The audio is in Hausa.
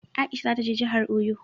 Aisha za ta je jahar Oyo